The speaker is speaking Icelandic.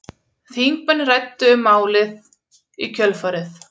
Þingmenn ræddu um málið í kjölfarið